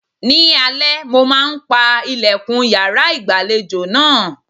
Ni alẹ́, mo máa ń pa ìlẹ̀kùn yàrá ìgbàlejò náà.